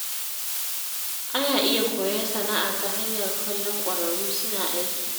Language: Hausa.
Ana iya koyon sana’a ta hanyar kallon ƙwararru suna aiki.